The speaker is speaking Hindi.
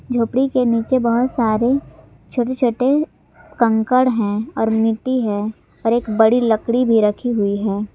झोपडी के नीचे बहोत सारे छोटे छोटे कंकड़ हैं और मिट्टी भी है और एक बड़ी लकड़ी रखी हुई है।